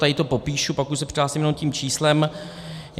Tady to popíšu, pak už se přihlásím jenom tím číslem.